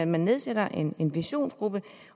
man nedsætter en en visionsgruppe